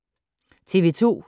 TV 2